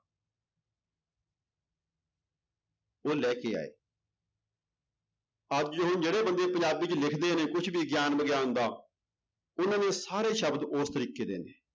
ਉਹ ਲੈ ਕੇ ਆਏ ਅੱਜ ਉਹ ਜਿਹੜੇ ਬੰਦੇ ਪੰਜਾਬੀ ਚ ਲਿਖਦੇ ਨੇ ਕੁਛ ਵੀ ਗਿਆਨ ਵਿਗਿਆਨ ਦਾ ਉਹਨਾਂ ਦੇ ਸਾਰੇ ਸ਼ਬਦ ਉਸ ਤਰੀਕੇ ਦੇ ਨੇ।